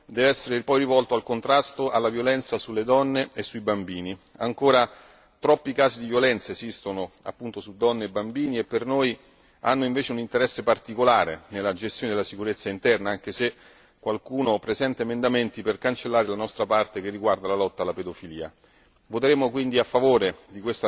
Terzo punto un particolare impegno va poi rivolto al contrasto della violenza sulle donne e sui bambini ancora troppi casi di violenza esistono appunto su donne e bambini e per noi hanno invece un interesse particolare nella gestione della sicurezza interna anche se qualcuno presenta emendamenti per cancellare la nostra parte che riguarda la lotta alla pedofilia.